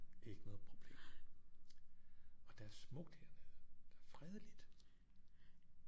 Ikke noget problem og der er smukt hernede der er fredeligt